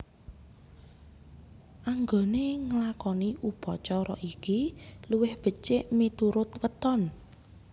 Anggone nglakoni upacara iki luwih becik miturut weton